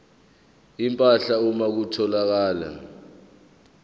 empahla uma kutholakala